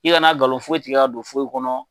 I kana ngalon foyi tigɛ ka don foyi kɔnɔ.